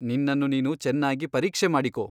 ನಿನ್ನನ್ನು ನೀನು ಚೆನ್ನಾಗಿ ಪರೀಕ್ಷೆ ಮಾಡಿಕೊ.